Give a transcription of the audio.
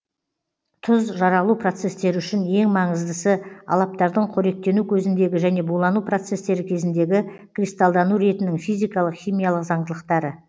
тұз жаралу процестері үшін ең маңыздысы алаптардың қоректену көзіндегі және булану процестері кезіндегі кристалдану ретінің физикалық химиялық заңдылықтары